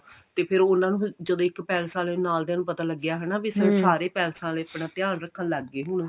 ਤੇ ਫਿਰ ਉਹਨਾ ਨੂੰ ਜਦੋਂ ਇੱਕ ਪੈਲੇਸ ਆਲਿਆਂ ਨੂੰ ਨਾਲ ਦਿਆਂ ਨੂੰ ਪਤਾ ਲੱਗਿਆ ਹਨਾ ਵੀ ਸਾਰੇ ਪੈਲੇਸਾਂ ਆਲੇ ਆਪਣਾ ਧਿਆਨ ਰੱਖਨ ਲੱਗ ਗਏ ਹੁਣ